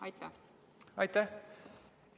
Aitäh!